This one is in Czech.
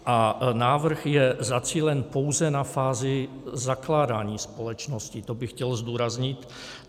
A návrh je zacílen pouze na fázi zakládání společnosti - to bych chtěl zdůraznit.